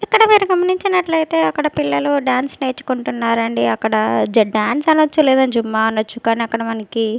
ఇక్కడ మీరు గమనించినట్లయితే అక్కడ పిల్లలు డాన్స్ నేర్చుకుంటున్నారండి అక్కడ డాన్స్ అనొచ్చు లేదా జుంబా అనొచ్చు కానీ అక్కడ మనకి.